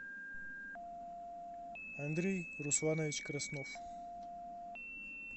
андрей русланович краснов